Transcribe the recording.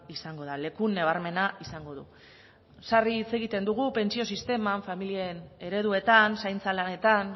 izango da leku nabarmena izango du sarri hitz egiten dugu pentsio sisteman familien ereduetan zaintza lanetan